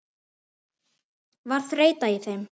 Var þreyta í þeim?